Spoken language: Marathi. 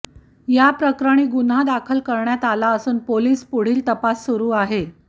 याप्रकरणी गुन्हा दाखल करण्यात आला असून पोलीस पुढील तपास सुरू आहे